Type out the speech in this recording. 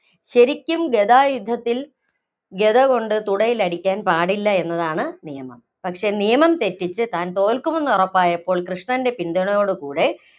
ശരിക്കും ഗദ യുദ്ധത്തില്‍, ഗദകൊണ്ട് തുടയിലടിക്കാന്‍ പാടില്ല എന്നതാണ് നിയമം. പക്ഷേ നിയമം തെറ്റിച്ച്, താന്‍ തോല്‍ക്കുമെന്ന് ഉറപ്പായപ്പോള്‍ കൃഷ്ണന്‍റെ പിന്തുണയോട് കൂടെ